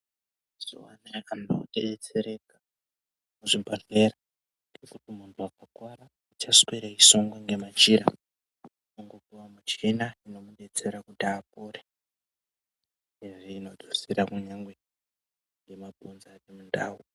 Mazuwa anaa anhu odetsereka muzvibhedhleya munhu anorwara aachasweri eisungwa ngemachira kune muchina inodetsera kuti apore uyezve inonasira kunyangwe nemabhonzo aende mundau.